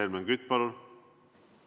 Helmen Kütt, palun!